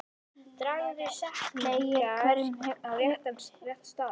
Dragðu setningar á rétta staði.